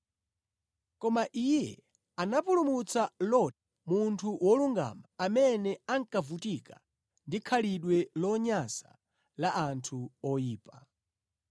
Koma Iye anapulumutsa Loti, munthu wolungama, amene ankavutika ndi khalidwe lonyansa la anthu oyipa.